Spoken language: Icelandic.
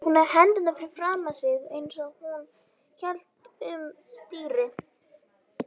Hún hafði hendurnar fyrir framan sig eins og hún héldi um stýri.